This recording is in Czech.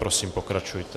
Prosím, pokračujte.